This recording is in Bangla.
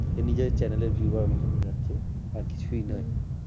নিজের channel এর view বাড়ানোর জন্য যাচ্ছে আর কিছুই নয়।